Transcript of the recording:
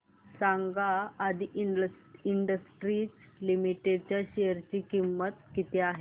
सांगा Aadi industries limited च्या शेअर ची किंमत किती आहे